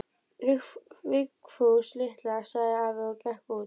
Vigfús litla, sagði afi og gekk út.